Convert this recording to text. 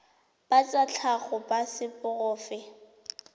ba tsa tlhago ba seporofe